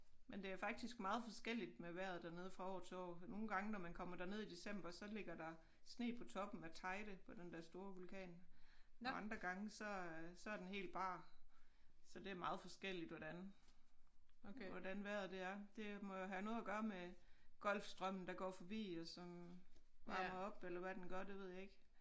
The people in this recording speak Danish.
Men det er faktisk meget forskelligt med vejret dernede fra år til år nogle gange når man kommer derned i december så ligger der sne på toppen af Teide på den der store vulkan og andre gange så så er den helt bar så det meget forskelligt hvordan hvordan vejret det er det må have noget at gøre med Golfstrømmen der går forbi og så varmer op eller hvad den gør det ved jeg ikke